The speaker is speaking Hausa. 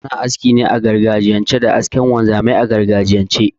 Ana aski ne a gargajiyance da askar wanzamai a gargajiyance